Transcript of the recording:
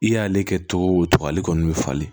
I y'ale kɛ togo o togo ale kɔni bɛ falen